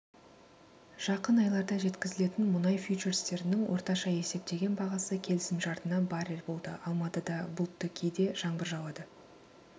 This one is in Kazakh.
жақын айларда жеткізілетін мұнай фьючерстерінің орташа есептеген бағасы келісімшартына барр болды алматыда бұлтты кейде жаңбыр жауады